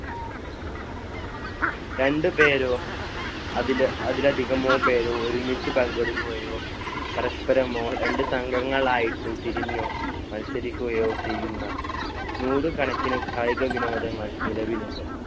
രണ്ട് പേരോ അതില്~ അതിലധികമോ പേരോ ഒരുമിച്ച് പങ്കെടുക്കുകയോ പരസ്പരമോ രണ്ട് സംഘങ്ങളായിട്ട് തിരിഞ്ഞു മത്സരിക്കുകയോ ചെയുന്നു നൂറ് കണക്കിന് കായിക വിനോദങ്ങൾ നിലവിലുണ്ട്.